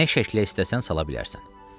Nə şəklə istəsən sala bilərsən.